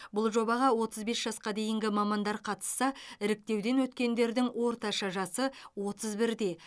бұл жобаға отыз бес жасқа дейінгі мамандар қатысса іріктеуден өткендердің орташа жасы отыз бірде